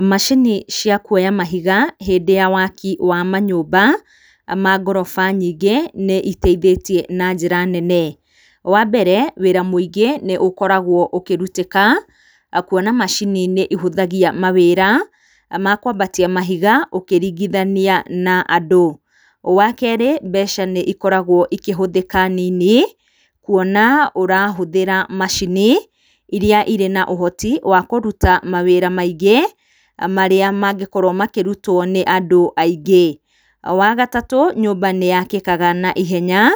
Macini cia kuoya mahiga hĩndĩ ya waki wa manyũmba ma ngoroba nyingĩ nĩiteithĩtie na njĩra nene. Wa mbere, wĩra mũingĩ nĩũkoragwo ũkĩrutĩka kuona macini nĩcihũthagia mawĩra ma kwambatia mahiga ũkĩringithania na andũ. Wa kerĩ, mbeca nĩikoragwo ikĩhũthĩka nini, kuona ũrahũthĩra macini irĩa irĩ na ũhoti wa kũruta mawĩra maingĩ marĩa mangĩkorwo makĩrutwo nĩ andũ aingĩ. Wa gatatũ, nyũmba nĩyakĩkaga na ihenya,